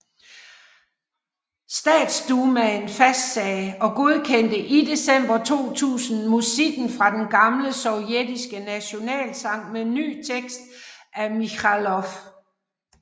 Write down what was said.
Statsdumaen fastsagde og godkendte i december 2000 musikken fra den gamle sovjetiske nationalsang med ny tekst af Mikhalkov